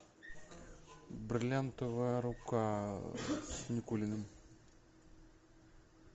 бриллиантовая рука с никулиным